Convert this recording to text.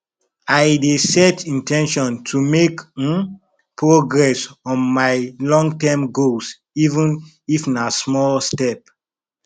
i dey set in ten tion to make um progress on my longterm goals even if na small step